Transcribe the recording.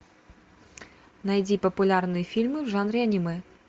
найди популярные фильмы в жанре аниме